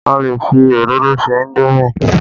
A lè fi òróró se indomi